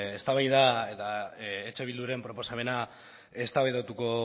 eztabaida eta eh bilduren proposamena eztabaidatuko